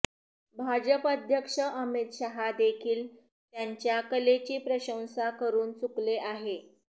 भाजप अध्यक्ष अमित शहा देखील त्यांच्या कलेची प्रशंसा करून चुकले आहे